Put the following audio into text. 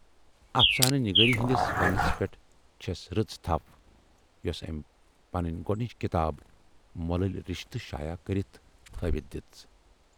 اَفسانہٕ نِگٲری ہٕندِس فنس پٮ۪ٹھ چھَس رٕژ تھَپھ یۅسہٕ ٲمۍ پنٕنۍ گۅڈنِچ کِتاب"مۅلٕلۍ رِشتہٕ"شایع کٔرِتھ ہٲوِتھ دِژ۔